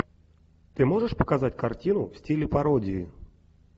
ты можешь показать картину в стиле пародии